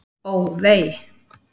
Ó, vei!